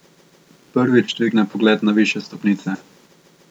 Prvič dvigne pogled na višje stopnice.